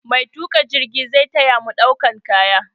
Maituƙa jirgin zai ta ya mu ɗaukan kaya.